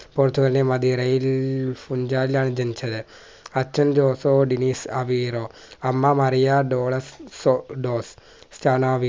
പോർച്ചുഗലിൽ മഥേരിയിൽ ഫ്യൂഞ്ചാലിലാണ് ജനിച്ചത് അച്ഛൻ ജോസൊ ഡിനിസ് അവിറോ അമ്മ മരിയ ഡൊളോസ് ഡോസ് സ്റ്റാനാവിർ